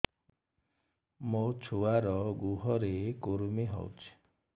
ମୋ ଛୁଆର୍ ଗୁହରେ କୁର୍ମି ହଉଚି